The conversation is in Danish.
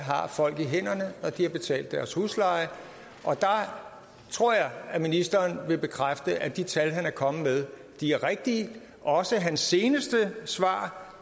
folk har i hænderne når de har betalt deres husleje og der tror jeg at ministeren vil bekræfte at de tal han er kommet med er rigtige også hans seneste svar